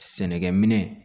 Sɛnɛkɛ minɛn